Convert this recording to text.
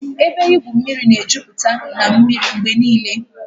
Ebe igwu mmiri na-ejupụta na mmiri mgbe niile